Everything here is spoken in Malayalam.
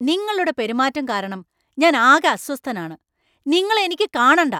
നിങ്ങളുടെ പെരുമാറ്റം കാരണം ഞാൻ ആകെ അസ്വസ്ഥനാണ്, നിങ്ങളെ എനിക്കു കാണണ്ട.